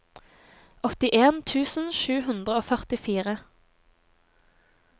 åttien tusen sju hundre og førtifire